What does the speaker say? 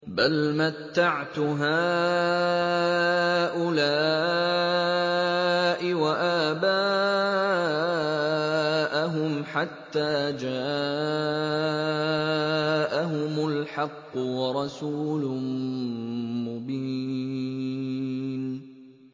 بَلْ مَتَّعْتُ هَٰؤُلَاءِ وَآبَاءَهُمْ حَتَّىٰ جَاءَهُمُ الْحَقُّ وَرَسُولٌ مُّبِينٌ